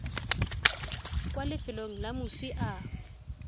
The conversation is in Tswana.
kwa lefelong le moswi a